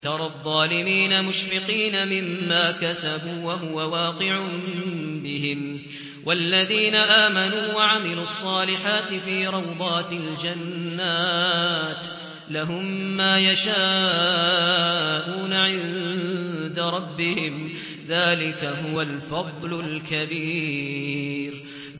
تَرَى الظَّالِمِينَ مُشْفِقِينَ مِمَّا كَسَبُوا وَهُوَ وَاقِعٌ بِهِمْ ۗ وَالَّذِينَ آمَنُوا وَعَمِلُوا الصَّالِحَاتِ فِي رَوْضَاتِ الْجَنَّاتِ ۖ لَهُم مَّا يَشَاءُونَ عِندَ رَبِّهِمْ ۚ ذَٰلِكَ هُوَ الْفَضْلُ الْكَبِيرُ